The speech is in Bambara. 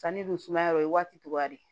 Sanni dun sumaya o ye waati cogoya de ye